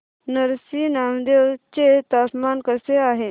नरसी नामदेव चे तापमान कसे आहे